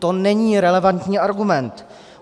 To není relevantní argument.